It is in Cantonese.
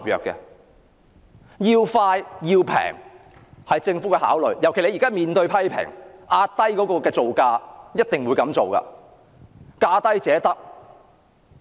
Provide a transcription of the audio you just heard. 政府的考慮因素是要快及便宜，尤其是現時面對批評，所以一定要壓低造價，價低者得。